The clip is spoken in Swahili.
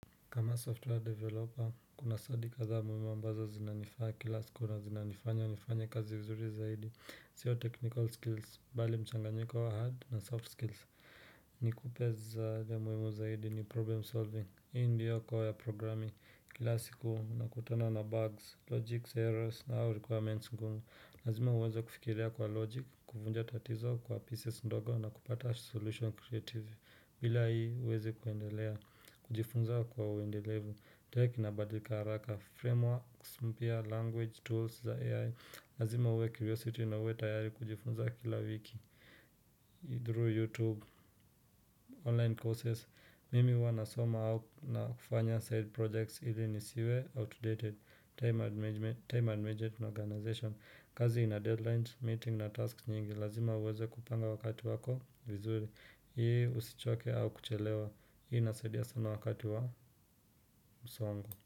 Kama software developer kuna stadi kadhaa muhimu ambazo zinanifaa kila siku na zinanifanya nifanye kazi vizuri zaidi sio technical skills ni mchanganyiko wa hard na soft skills muhimu zaidi problem solving. Hii ndiyo koo ya programing, kila siku unakutana na bugs, logics, errors na au requirements ngumu. Lazima uweze kufikiria kwa logic, kufunja tatizo kwa pieces ndogo na kupata solution creative. Bila hii huwezi kuendelea, kujifunza kwa uendelevu. Tech inabadika haraka, frameworks mpya, language, tools za AI. Lazima uwe curiosity na uwe tayari kujifunza kila wiki. Through youtube, online courses mimi huwa nasoma au na kufanya side projects hili nisiwe, outdated, time management organization kazi ina deadlines, meeting na tasks nyingi lazima uweze kupanga wakati wako vizuri ili usichoke au kuchelewa hii inasaidia sana wakati wa msongo.